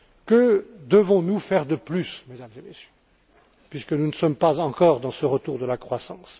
Que devons nous faire de plus, Mesdames et Messieurs, puisque nous ne sommes pas encore dans ce retour de la croissance?